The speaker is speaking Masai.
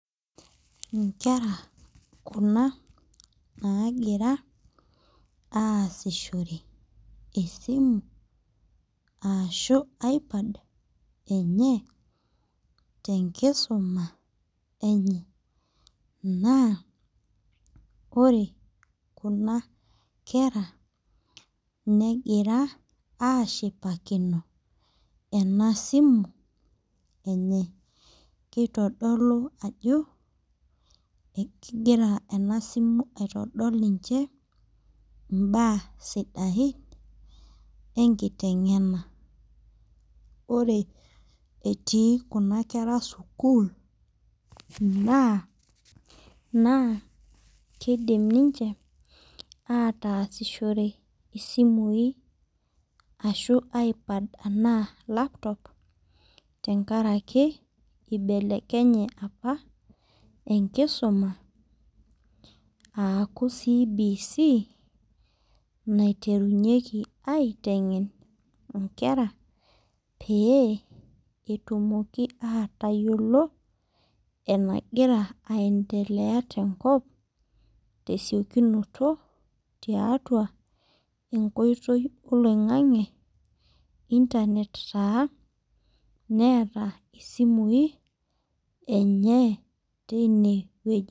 Inkera kuna naagira aasishore esimu ashu i-pad enye tenkisuma enye naa ore kuna kera negira ashipakino ena simu enye keitodolu ajo ekigira ena simu aitodol ninche imbaa sidain enkiteng'ena ore etii kuna kera sukuul naa, naa kidim ninche ataasishore isimui ashu i-pad anaa laptop tenkaraki eibelekenye apa enkisuma aaku CBC naiterunyieki aiteng'en inkera pee etumoki atayiolo enagira aendelea tenkop tesiokinoto tiatua enkoitoi oloing'ang'e internet taa neeta isimui enye teinewueji.